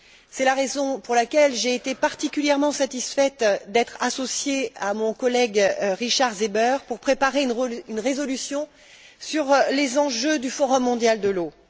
C'est la raison pour laquelle j'ai été particulièrement satisfaite d'être associée à mon collègue Richard Seeber pour préparer une résolution sur les enjeux du Forum mondial de l'eau.